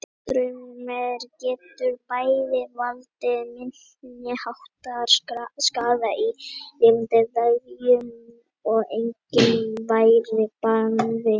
Rafstraumur getur bæði valdið minniháttar skaða í lifandi vefjum og einnig verið banvænn.